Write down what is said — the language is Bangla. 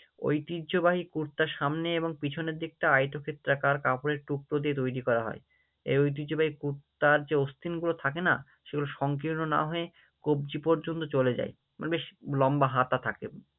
ঐতিহ্যবাহী কুর্তা সামনে এবং পিছনের দিকটা আয়তক্ষেত্রকার কাপড়ের টুকরো দিয়ে তৈরী করা হয়, এই ঐতিহ্যবাহী কুর্তার যে অস্থিনগুলো থাকে না, সেগুলো সংকীর্ণ না হয়ে কবজি পর্যন্ত চলে যায়, মানে বেশ লম্বা হাতা থাকে।